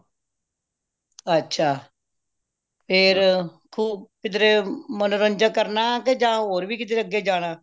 ਅੱਛਾ ਫੇਰ ਖੂਬ ਕਿਧਰੇ ਮਨੋਰੰਜਨ ਕਰਨਾ ਆ ਕੇ ਹੋਰ ਵੀ ਕਿਧਰੇ ਜਾਣਾ